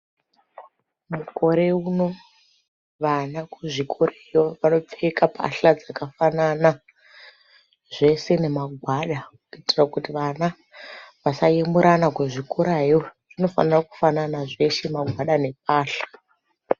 Mukoreuno, vana, kuzvikoreyo vakapfeka pahla dzakafanana zvese nemagwada kuitira kuti vana vasayemurana kuzvikorayo,.Zvinofanira kufanana zveshe magwada nepahla.